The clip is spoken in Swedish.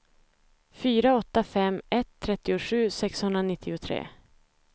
fyra åtta fem ett trettiosju sexhundranittiotre